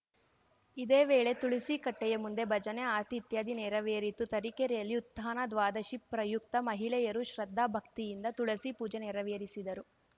ಇದೇ ವೇಳೆ ತುಳಸಿ ಕಟ್ಟೆಯ ಮುಂದೆ ಭಜನೆ ಆರತಿ ಇತ್ಯಾದಿ ನೆರವೇರಿತು ತರೀಕೆರೆಯಲ್ಲಿ ಉತ್ಧಾನ ದ್ವಾದಶಿ ಪ್ರಯುಕ್ತ ಮಹಿಳೆಯರು ಶ್ರದ್ಧಾಭಕ್ತಿಯಿಂದ ತುಳಸಿ ಪೂಜೆ ನೆರವೇರಿಸಿದರು